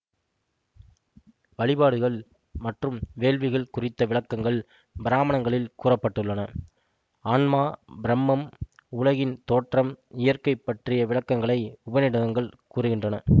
வழிபாடுகள் மற்றும் வேள்விகள் குறித்த விளக்கங்கள் பிராமணங்களில் கூற பட்டுள்ளன ஆன்மா பிரம்மம் உலகின் தோற்றம் இயற்கை பற்றிய விளக்கங்களை உபநிடதங்கள் கூறுகின்றன